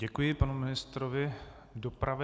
Děkuji panu ministrovi dopravy.